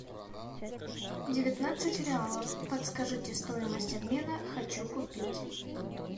девятнадцать реалов подскажите стоимость обмена хочу купить